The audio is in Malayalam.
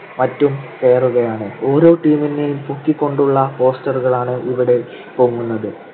മറ്റും കേറുകയാണ്. ഓരോ team നെയും പൊക്കികൊണ്ടുള്ള poster കളാണ് ഇവിടെ പൊങ്ങുന്നത്.